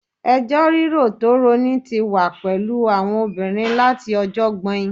Ẹjọ́ rírò tó rọni tí wà pẹ̀lú àwọn obìnrin láti ọjọ́ ọgbọ́in